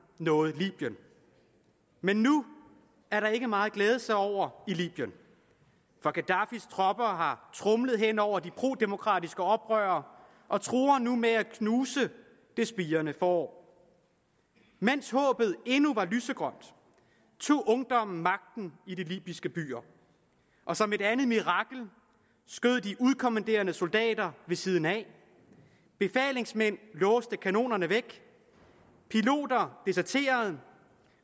nåede libyen men nu er der ikke meget at glæde sig over i libyen for gaddafis tropper har tromlet hen over de prodemokratiske oprørere og truer med at knuse det spirende forår mens håbet endnu var lysegrønt tog ungdommen magten i de libyske byer og som et andet mirakel skød de udkommanderede soldater ved siden af befalingsmænd låste kanonerne væk piloter deserterede